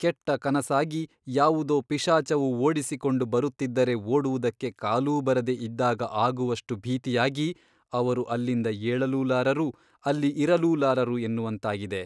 ಕೆಟ್ಟ ಕನಸಾಗಿ ಯಾವುದೋ ಪಿಶಾಚವು ಓಡಿಸಿಕೊಂಡು ಬರುತ್ತಿದ್ದರೆ ಓಡುವುದಕ್ಕೆ ಕಾಲೂ ಬರದೆ ಇದ್ದಾಗ ಆಗುವಷ್ಟು ಭೀತಿಯಾಗಿ ಅವರು ಅಲ್ಲಿಂದ ಏಳಲೂಲಾರರು ಅಲ್ಲಿ ಇರಲೂಲಾರರು ಎನ್ನುವಂತಾಗಿದೆ.